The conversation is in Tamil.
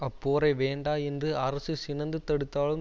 அப்போரை வேண்டா என்று அரசு சினந்து தடுத்தாலும்